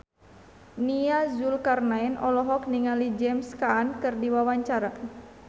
Nia Zulkarnaen olohok ningali James Caan keur diwawancara